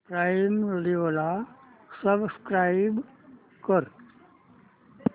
prime Video ला subscribe कर